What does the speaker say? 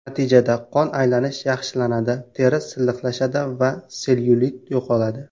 Natijada qon aylanish yaxshilanadi, teri silliqlashadi va sellyulit yo‘qoladi.